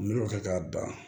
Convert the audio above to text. N bɛ o kɛ k'a ban